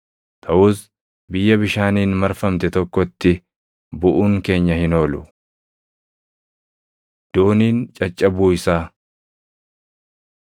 Taʼus biyya bishaaniin marfamte tokkotti buʼuun keenya hin oolu.” Dooniin Caccabuu Isaa